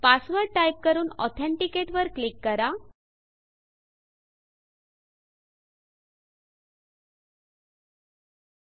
password type करून authenticate authenticate वर click करा